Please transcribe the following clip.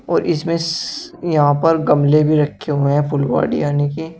और इसमें यहां पर गमले भी रखे हुए हैं फुलवाड़ी यानि की।